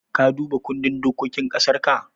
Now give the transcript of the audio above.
Ka duba kundin dokokin ƙasarka?